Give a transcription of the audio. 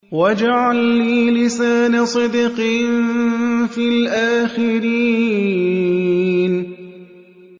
وَاجْعَل لِّي لِسَانَ صِدْقٍ فِي الْآخِرِينَ